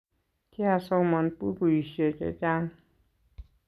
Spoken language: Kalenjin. kiasoman bukuishe chechang